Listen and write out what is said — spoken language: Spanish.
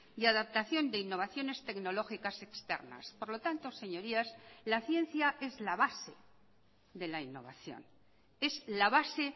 y adaptación de innovaciones tecnológicas externas por lo tanto señorías la ciencia es la base de la innovación es la base